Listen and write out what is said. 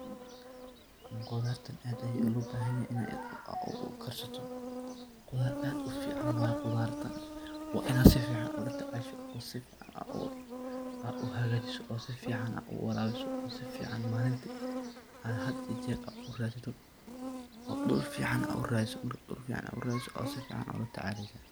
Qoolatn aad Aya loo bahanyahay AA u karsatoh, aad aad u fican waye quutharta wa Inaat AA sufican ula tacashoo ana u hagajeeoh oo sufican AA u warabisoh oo sufacan malinti add hada iyo jeerba oo dul fican AA u ratheesoh, oo sufacan ula tacashoo.